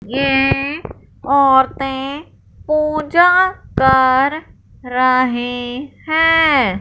ये औरतें पूजा कर रही हैं।